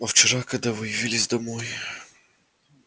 а вчера когда вы явились домой